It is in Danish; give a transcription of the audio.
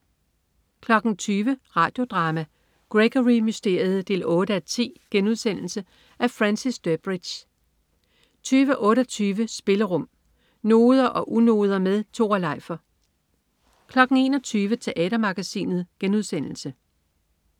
20.00 Radio Drama: Gregory Mysteriet 8:10.* Af Francis Durbridge 20.28 Spillerum. Noder og unoder med Tore Leifer 21.00 Teatermagasinet*